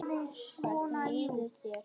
Hvernig líður þér, elskan?